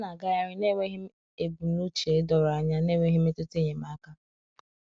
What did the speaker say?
ha na agaghari na enweghi ebụmụche dọrọ anya na enweghi mmetụta enyemaka